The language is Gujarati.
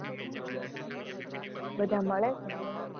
બધા મળે કે નહીં?